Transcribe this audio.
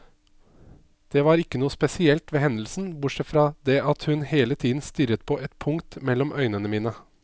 Det var ikke noe spesielt ved hendelsen, bortsett fra det at hun hele tiden stirret på et punkt mellom øynene mine.